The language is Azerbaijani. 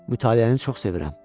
Mütaliəni çox sevirəm.